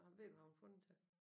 Ved du hvad hun har fundet det til?